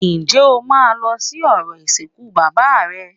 Ǹjẹ́ o máa lọ sí orò ìsìnkú bàbá rẹ